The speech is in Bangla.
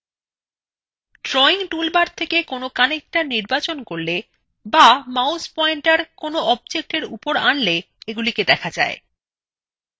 drawing টুলবার থেকে কোনো connector নির্বাচন করলে বা mouse পয়েন্টার কোনো objectএর উপরে আনলে এগুলিকে দেখা যায়